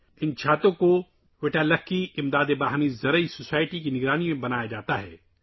یہ چھتریاں ‘Vatalki cooperative agricultural society’ کی نگرانی میں بنائی گئی ہیں